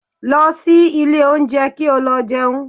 Lọ sí ilé oúnjẹ kí o lọ jẹun